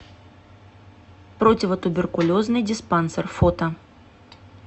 противотуберкулезный диспансер фото